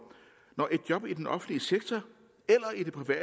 når et job i den offentlige sektor